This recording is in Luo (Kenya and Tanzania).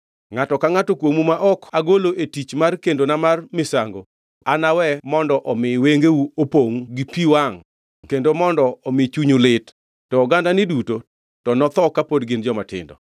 Ngʼato ka ngʼato kuomu ma ok agolo e tich mar kendona mar misango anawe mondo omi wengeu opongʼ gi pi wangʼ kendo mondo omi chunyu lit, to ogandani duto to notho kapod gin jomatindo.